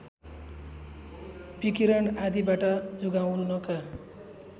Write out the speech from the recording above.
विकिरण आदिबाट जोगाउनका